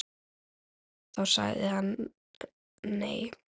Og þá sagði hann nei.